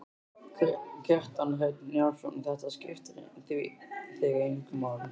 Kjartan Hreinn Njálsson: Þetta skiptir þig engu máli?